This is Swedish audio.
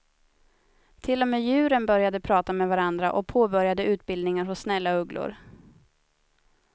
Till och med djuren började prata med varandra och påbörjade utbildningar hos snälla ugglor.